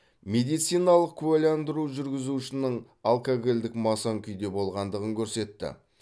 медициналық куәландыру жүргізушінің алкогольдік масаң күйде болғандығын көрсетті